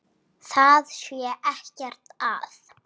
Það sé ekkert að.